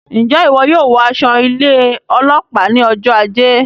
Njẹ iwọ yóò wọ aṣọ ilé ọlópàá ní ọjọ ajé?